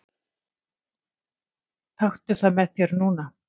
Taktu það með þér núna!